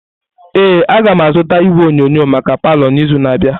Ee, agam azụta igwe onyonyo maka palọ n'izu na-abịa.